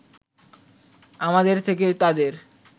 আমাদের থেকে তাদের